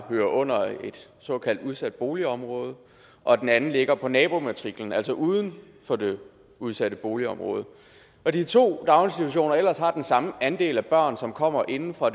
hører under et såkaldt udsat boligområde og den anden ligger på nabomatriklen altså uden for det udsatte boligområde og de to daginstitutioner ellers har den samme andel af børn som kommer inde fra